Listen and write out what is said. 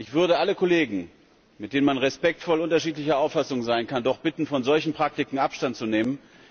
Ich würde alle Kollegen, mit denen man respektvoll unterschiedlicher Auffassung sein kann, doch bitten, von solchen Praktiken Abstand zu nehmen.